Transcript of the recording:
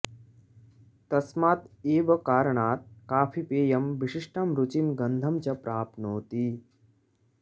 तस्मात् एव कारणात् काफीपेयं विशिष्टां रुचिं गन्धं च प्राप्नोति